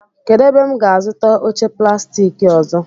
Kedụ ebe m ga-azụta oche plastik ọzọ?